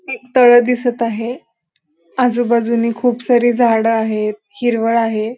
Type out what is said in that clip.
तळ दिसत आहे आजूबाजूनी खुप सारी झाड आहेत हिरवळ आहे.